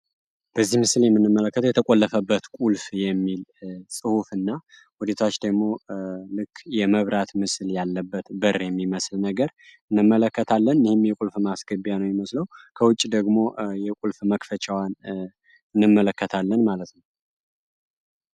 በዚህ ምስል የምንመለከተው የተቆለፈበት ቁልፍ የሚል ጹሁፍ እና ወደታች ደግሞ የመብራት ምስል ያለበት በር የሚመስል ነገር እንመለከታለን ወይም የቁልፍ ማስገቢያ ነው የሚመስለው ከውጭ ደግሞ የቁልፍ መክፈቻውን እንመለከታለን ማለት ነው።